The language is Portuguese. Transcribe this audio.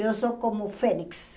Eu sou como fênix.